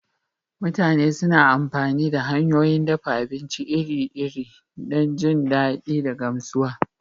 Mutane suna amfani da hanyoyin dafa abinci iri-iri don jin daɗi da gamsuwa